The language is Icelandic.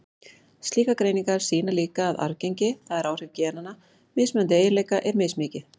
Slíkar greiningar sýna líka að arfgengi, það er áhrif genanna, mismunandi eiginleika er mismikið.